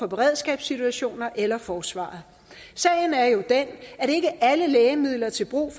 beredskabssituationer eller af forsvaret sagen er jo den at ikke alle lægemidler til brug